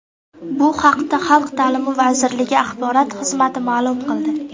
Bu haqda Xalq ta’’limi vazirligi axborot xizmati ma’lum qildi .